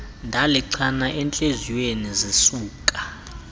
ndalichana entliziyweni zisuka